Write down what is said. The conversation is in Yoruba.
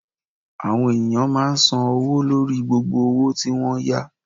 Àwọn ènìyàn máa n san owó lórí gbogbo òwò tí n wọ́n yá